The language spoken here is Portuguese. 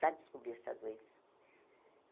Para descobrir essa doença.